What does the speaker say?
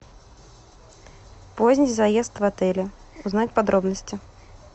поздний заезд в отеле узнать подробности